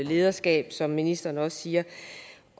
lederskab som ministeren også siger